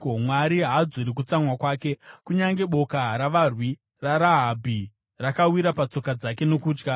Mwari haadzori kutsamwa kwake; kunyange boka ravarwi raRahabhi rakawira patsoka dzake nokutya.